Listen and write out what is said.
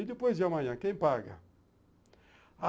E depois de amanhã, quem paga?